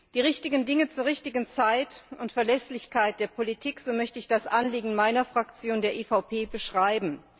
Die richtigen Dinge zur richtigen Zeit und Verlässlichkeit der Politik so möchte ich das Anliegen meiner Fraktion, der EVP, beschreiben.